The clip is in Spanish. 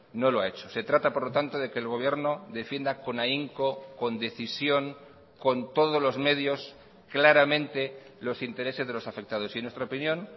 no lo ha hecho se trata por lo tanto de que el gobierno defienda con ahínco con decisión con todos los medios claramente los intereses de los afectados y en nuestra opinión